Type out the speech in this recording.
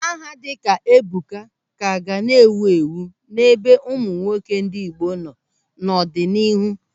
Aha dịka Ebuka ka ga na-ewu ewu n'ebe ụmụ nwoke ndị Igbo nọ n'ọdịnihu.